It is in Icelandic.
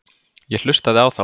Ég hlustaði á þá.